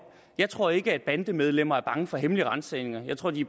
jeg tror ikke at bandemedlemmerne er bange for hemmelige ransagninger jeg tror de